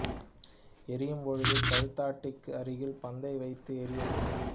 எறியும் பொழுது கழுத்தடிக்கு அருகில் பந்தை வைத்து எறிய வேண்டும்